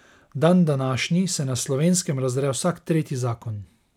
Dandanašnji se na Slovenskem razdre vsak tretji zakon.